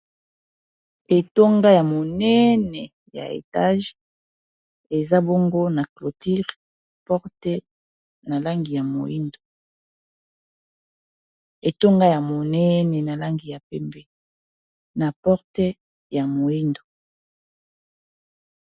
Etonga ya monene!.. ya etage eza bongo na clôture, porte na langi ya moyindo etonga , ya monene na langi ya pembe, na porte ya moyindo.